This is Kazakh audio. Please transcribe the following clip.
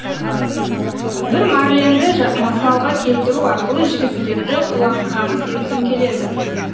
бір марленді мысалға келтіру арқылы жігіттерді құлаққағыс еткім келеді